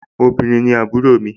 obìrin ni àbúrò mi